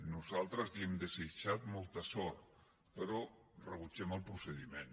nosaltres li hem desitjat molta sort però rebutgem el procediment